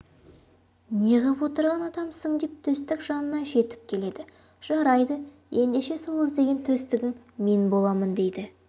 неғып отырған адамсың деп төстік жанына жетіп келеді жарайды ендеше сол іздеген төстігің мен боламын дейді